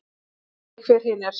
Ég man ekki hver hin er.